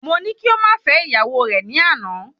Mo ní kí o ma fẹ ìyàwó re ni àná